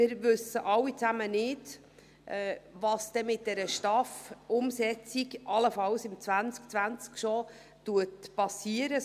Wir wissen alle nicht, was mit der Umsetzung der Steuerreform und AHV-Finanzierung (STAF) allenfalls bereits im Jahr 2020 geschehen wird.